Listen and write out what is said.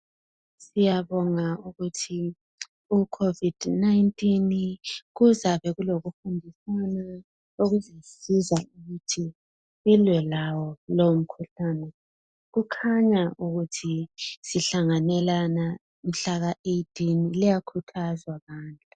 Siyabonga ukuthi icovid 19 kuzabe kulomkhankaso ukuthi silwe lawo lowomkhuhlane, kukhanya ukuthi sihlanganelana mhlaka 18 liyakhuthazwa bantu.